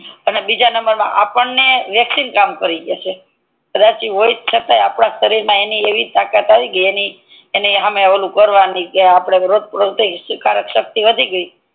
અને બીજા નંબર મા આપડને વેક્સિન કામ કરી જસે કદાચ હોય તોય આપડાં સરીર મા એવી તાકાત આવી ગઈ એની હામે આપડે કરવાનું કે રોગપ્રતિ કારક સક્તિ વધી ગઈ